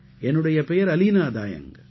என்னுடைய பெயர் அலீனா தாயங்க்